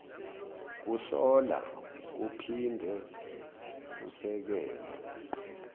kuhlola kuphinde kusekele